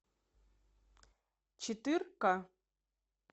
четырка